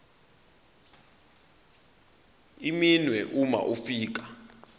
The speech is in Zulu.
iminwe uma ufika